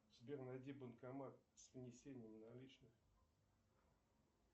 сбер найди банкомат с внесением наличных